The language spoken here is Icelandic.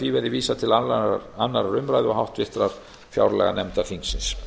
því verði vísað til annarrar umræðu og háttvirtrar fjárlaganefndar þingsins